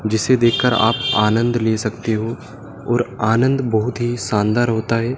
जिसे देखकर आप आनंद ले सकते हो और आनंद बहोत ही सानदार होता है।